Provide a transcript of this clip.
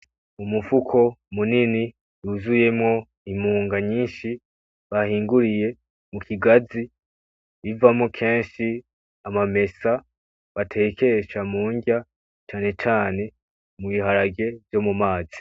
Umufuko munini wuzuyemwo imunga nyinshi bahinguriye mukigazi bivamwo kenshi amamesa batekesha munrya cane cane ibiharage vyo mu mazi